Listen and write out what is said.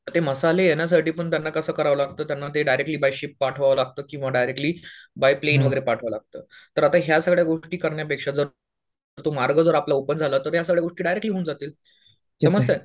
ते मसाले येण्यासाठी पण त्यांना कसं करावं लागतं, त्यांना ते डायरेक्ट्ली बाय शिप पाठवावं लागतं. किंवा डायरेक्ट्ली बाय प्लॅन वगैरे पाठवावं लागतं. तर आता ह्या सगळ्या गोष्टी करण्यापेक्षा जर तो मार्ग जर आपल्यासाठी ओपन झाला तर या सगळ्या गोष्टी डायरेक्ट्ली होऊन जातील.